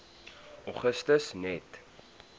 augustus net